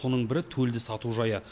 соның бірі төлді сату жайы